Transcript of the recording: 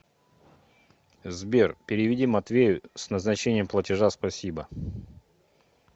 сбер переведи матвею с назначением платежа спасибо